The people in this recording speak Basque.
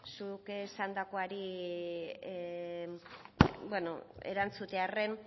zuk esandakoari erantzutearren